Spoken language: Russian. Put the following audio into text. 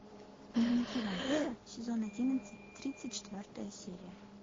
дневники вампира сезон одиннадцать тридцать четвертая серия